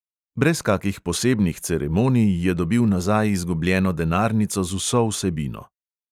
Brez kakih posebnih ceremonij je dobil nazaj izgubljeno denarnico z vso vsebino.